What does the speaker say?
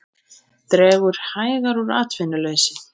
Dregur hægar úr atvinnuleysi